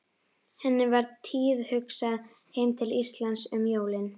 Henni var tíðhugsað heim til Íslands um jólin.